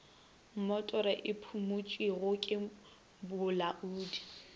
mmotoro e phumotšwego ke bolaodi